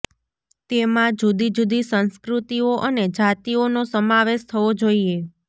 તેમાં જુદી જુદી સંસ્કૃતિઓ અને જાતિઓનો સમાવેશ થવો જોઈએ